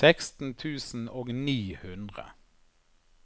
seksten tusen og ni hundre